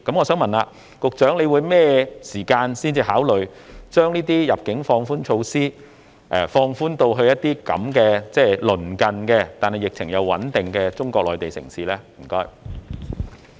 請問局長究竟何時才會考慮將入境措施放寬至這些鄰近而疫情穩定的中國內地城市呢？